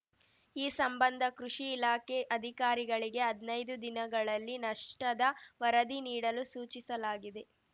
ಈ ಸಂಬಂಧ ಕೃಷಿ ಇಲಾಖೆ ಅಧಿಕಾರಿಗಳಿಗೆ ಹದ್ನೈದು ದಿನಗಳಲ್ಲಿ ನಷ್ಟದ ವರದಿ ನೀಡಲು ಸೂಚಿಸಲಾಗಿದೆ